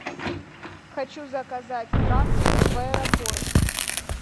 хочу заказать трансфер в аэропорт